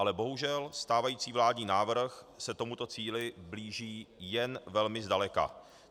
Ale bohužel stávající vládní návrh se tomuto cíli blíží jen velmi zdaleka.